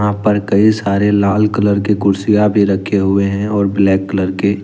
यहाँ पर कई सारे लाल कलर के कुर्सियां भी रखे हुए हैं और कलर के--